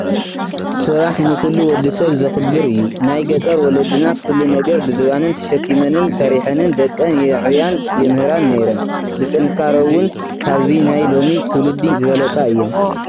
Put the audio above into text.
ስራሕ ንኹሉ ወዲ ሰብ ዘኽብር እዩ፡፡ ናይ ገጠር ወለድና ኩሉ ነገር ብዝባነን ተሸኪመንን ሰሪሐንን ደቀን የዕብያን የምህራን ነይረን፡፡ ብጥንካረ ውን ካብዚ ናይ ሎሚ ትውልዲ ዝበለፃ እየን፡፡